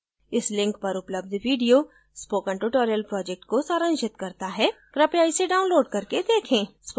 इस link पर उपलब्ध video spoken tutorial project को सारांशित करता है कृपया इसे download करके देखें